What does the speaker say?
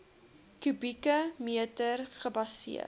kubieke meter gebaseer